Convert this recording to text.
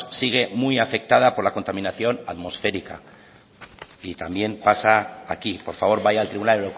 sigue muy afectada por la contaminación atmosférica y también pasa aquí por favor vaya al tribunal